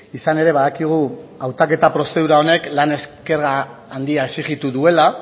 izan ere badakigu hautaketa prozedura honek lan esker handia exijitu duela